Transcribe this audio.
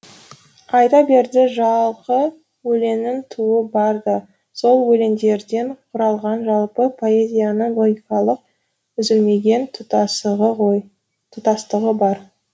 айта берді жалқы өлеңнің тууы бар да сол өлеңдерден құралған жалпы поэзияның логикалық үзілмеген тұтастығы бар